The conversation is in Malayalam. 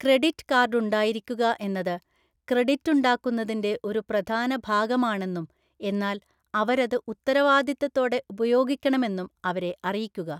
ക്രെഡിറ്റ് കാർഡുണ്ടായിരിക്കുക എന്നത് ക്രെഡിറ്റുണ്ടാക്കുന്നതിൻ്റെ ഒരു പ്രധാന ഭാഗമാണെന്നും എന്നാൽ അവരത് ഉത്തരവാദിത്തത്തോടെ ഉപയോഗിക്കണമെന്നും അവരെ അറിയിക്കുക.